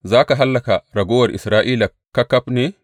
Za ka hallaka raguwar Isra’ila ƙaƙaf ne?